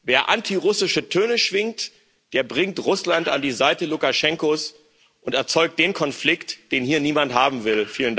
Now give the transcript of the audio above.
Wer antirussische Töne schwingt, der bringt Russland an die Seite Lukaschenkos und erzeugt den Konflikt, den hier niemand haben will.